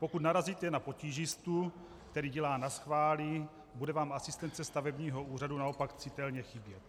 Pokud narazíte na potížistu, který dělá naschvály, bude vám asistence stavebního úřadu naopak citelně chybět.